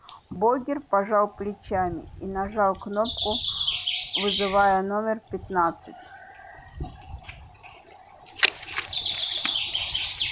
богерт пожал плечами и нажал кнопку вызывая номер пятнадцать